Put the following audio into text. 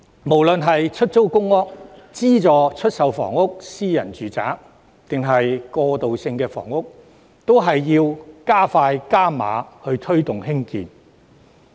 無論是出租公屋、資助出售房屋、私人住宅還是過渡性房屋，均必須加快、加碼推動和興建。